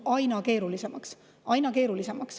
Aina keerulisemaks!